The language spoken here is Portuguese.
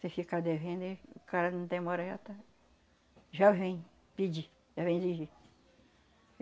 Se ficar devendo, o cara não demora já tá, já vem pedir, já vem exigir.